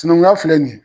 Sinankunya filɛ nin ye